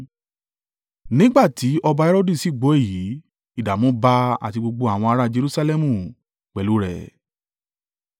Nígbà tí ọba Herodu sì gbọ́ èyí, ìdààmú bá a àti gbogbo àwọn ara Jerusalẹmu pẹ̀lú rẹ̀.